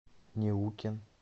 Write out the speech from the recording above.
неукен